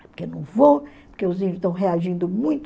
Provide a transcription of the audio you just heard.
Porque não vou, porque os índios estão reagindo muito.